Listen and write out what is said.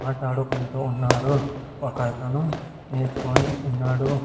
మాట్లాడుకుంటూ ఉన్నారు ఒక అతను నేర్చుకొని ఉన్నాడు.